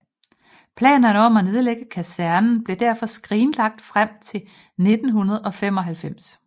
Planerne om at nedlægge kasernen blev derfor skrinlagt frem til 1995